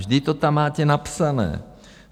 Vždyť to tam máte napsané.